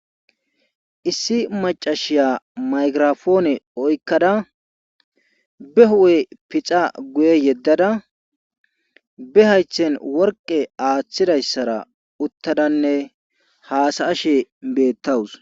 Issi maccashiya maygirapoone oykkada be huuphe pixa guye yeddada be haythen worqqe aathidayssaranne uttadanne haasa7ashe bbettawus.